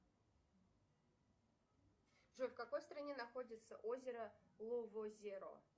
джой в какой стране находится озеро ловозеро